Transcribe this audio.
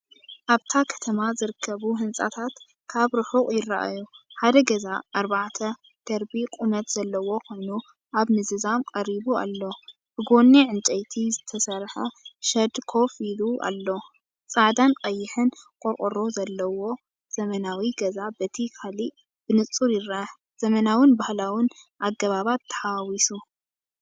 ኣብታ ከተማ ዝርከቡ ህንጻታት ካብ ርሑቕ ይረኣዩ። ሓደ ገዛ ኣርባዕተ ደርቢ ቁመት ዘለዎ ኮይኑ ኣብ ምዝዛም ቀሪቡ ኣሎ፤ ብጎኒ ዕንጨይቲ ዝተሰርሐ ሸድ ኮፍ ኢሉ ኣሎ። ጻዕዳን ቀይሕን ቆርቆሮዘለዎ ዘመናዊ ገዛ በቲ ካልእ ብንጹር ይርአ። ዘመናውን ባህላውን ኣገባባት ተሓዋዊሱ።